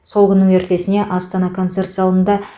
сол күннің ертесіне астана концерт залында